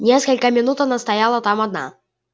несколько минут она стояла там одна